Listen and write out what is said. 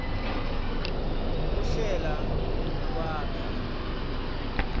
kuhlela nekwakha